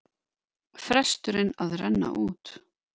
Fresturinn að renna út